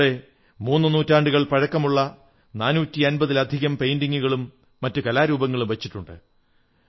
അവിടെ മൂന്നു നൂറ്റാണ്ടുകൾ പഴക്കമുള്ള 450 ലധികം പെയിന്റിംഗുകളും മറ്റു കലാരൂപങ്ങളും വച്ചിട്ടുണ്ട്